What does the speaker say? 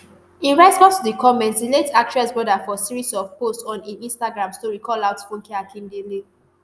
in response to di comment di late actress brother for series of posts on im instagram story call out funke akindele